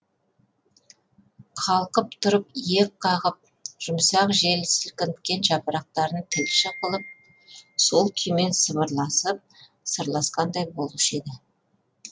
қалқып тұрып иек қағып жұмсақ жел сілкінткен жапырақтарын тілші қылып сол күймен сыбырласып сырласқандай болушы еді